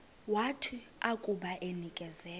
wathi akuba enikezelwe